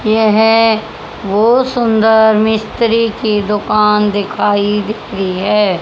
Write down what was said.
ये है बहुत सुंदर मिस्त्री की दुकान दिखाई दिख रही है।